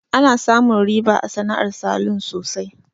Ana samun riba a sana'ar salun sosai.